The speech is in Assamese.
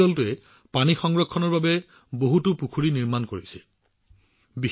এই দলটোৱে পানী সংৰক্ষণৰ বাবে বহুতো পুখুৰী নিৰ্মাণত নিয়োজিত হৈ আছে